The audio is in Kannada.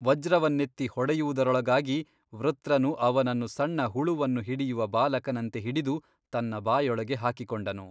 ವಜ್ರವನ್ನೆತ್ತಿ ಹೊಡೆಯುವುದರೊಳಗಾಗಿ ವೃತ್ರನು ಅವನನ್ನು ಸಣ್ಣಹುಳುವನ್ನು ಹಿಡಿಯುವ ಬಾಲಕನಂತೆ ಹಿಡಿದು ತನ್ನ ಬಾಯೊಳಗೆ ಹಾಕಿಕೊಂಡನು.